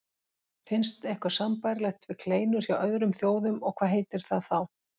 Finnst eitthvað sambærilegt við kleinur hjá öðrum þjóðum og hvað heitir það þá?